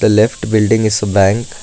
The left building is a bank.